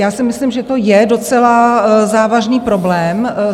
Já si myslím, že to je docela závažný problém.